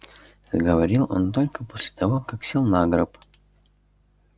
заговорил он только после того как сел на гроб